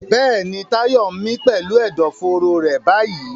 Bẹ́ẹ̀ni, Tayo ń mí pẹ̀lú ẹ̀dọ̀fóró rẹ̀ báyìí.